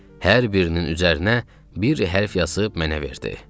Hər birinin üzərinə bir hərfi yazıb mənə verdi.